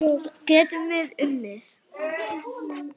Getum við unnið?